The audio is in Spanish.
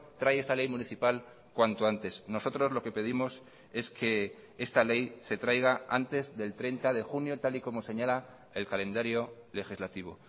trae esta ley municipal cuanto antes nosotros lo que pedimos es que esta ley se traiga antes del treinta de junio tal y como señala el calendario legislativo